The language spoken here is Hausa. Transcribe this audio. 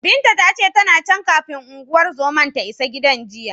Binta ta ce, tana can, kafin unguwar zomar ta isa gidan jiya.